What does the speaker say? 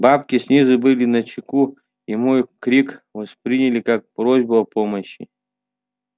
бабки снизу были начеку и мой крик восприняли как просьбу о помощи